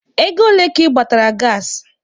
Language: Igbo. Ego ole ka ị gbatara gaasị?